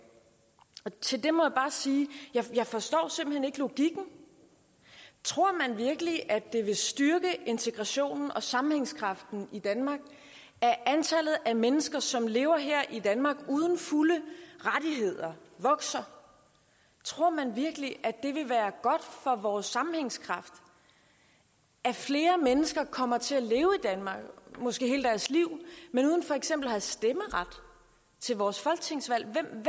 til det må jeg bare sige jeg forstår simpelt hen ikke logikken tror man virkelig at det vil styrke integrationen og sammenhængskraften i danmark at antallet af mennesker som lever her i danmark uden fulde rettigheder vokser tror man virkelig at det vil være godt for vores sammenhængskraft at flere mennesker kommer til at leve i danmark måske hele deres liv men uden for eksempel at have stemmeret til vores folketingsvalg hvem